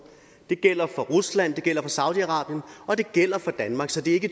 det gælder for rusland det gælder for saudi arabien og det gælder for danmark så det er ikke i